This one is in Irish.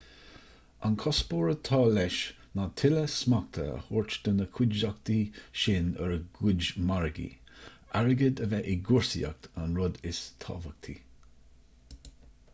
an cuspóir atá leis ná tuilleadh smachta a thabhairt do na cuideachtaí sin ar a gcuid margaí airgead a bheith i gcúrsaíocht an rud is tábhachtaí